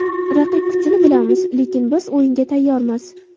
Raqib kuchini bilamiz, lekin biz o‘yinga tayyormiz.